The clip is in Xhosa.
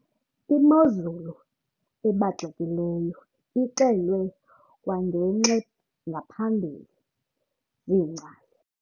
Imozulu ebaxekileyo ixelwe kwangenx' engaphambili ziingcali.